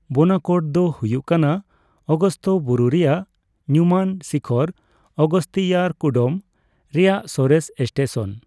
ᱵᱳᱱᱟᱠᱚᱰ ᱫᱚ ᱦᱩᱭᱩᱜ ᱠᱟᱱᱟ ᱚᱜᱚᱥᱛᱚ ᱵᱩᱨᱩ ᱨᱮᱭᱟᱜ ᱧᱩᱢᱟᱱ ᱥᱤᱠᱷᱚᱨ ᱚᱜᱚᱥᱛᱤᱭᱟᱨᱠᱩᱰᱚᱢ ᱨᱮᱭᱟᱜ ᱥᱚᱨᱮᱥ ᱥᱴᱮᱥᱚᱱ ᱾